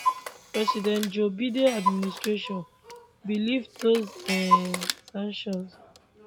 president joe biden administration bin lift those um sanctions